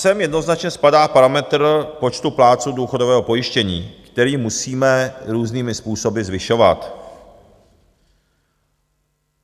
Sem jednoznačně spadá parametr počtu plátců důchodového pojištění, který musíme různými způsoby zvyšovat.